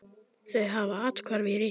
Þau hafa athvarf í risinu.